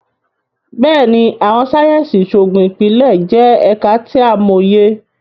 Béèni, Awọn sáyẹnsì Iṣoogun Ipilẹ jẹ ẹka ti a mọye